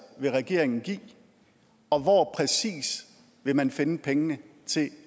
vil regeringen give og hvor præcis vil man finde pengene til